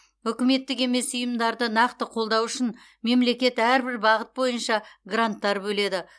үкіметтік емес ұйымдарды нақты қолдау үшін мемлекет әрбір бағыт бойынша гранттар бөледі